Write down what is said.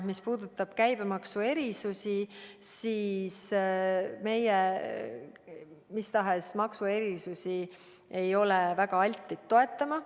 Mis puutub käibemaksu erisustesse, siis meie mis tahes maksuerisusi ei ole väga altid toetama.